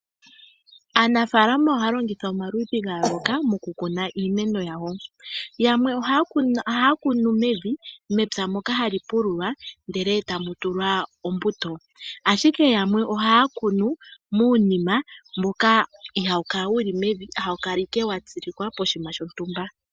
Aanafalama ohaya longitha omaludhi ga yooloka moku kuna iimeno yawo. Yakwe ohaya kunu mevi mepya moka hali pululwa ndele etamu tulwa ombuto. Ashike yamwe ohaya kunu muunima mboka ihaawu kala wu li mevi hawu kala Ike watsilikwa poshinima shontumba.